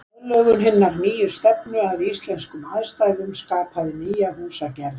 Aðlögun hinnar nýju stefnu að íslenskum aðstæðum skapaði nýja húsagerð.